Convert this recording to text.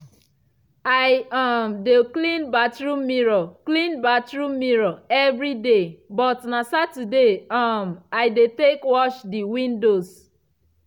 i um dey clean bathroom mirror clean bathroom mirror evriday but na saturday um i dey tek wash de windows.